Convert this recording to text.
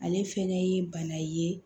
Ale fɛnɛ ye bana ye